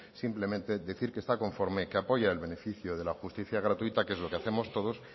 simplemente decir que está conforme que apoya el beneficio de la justicia gratuita que es lo que hacemos todos